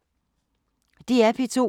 DR P2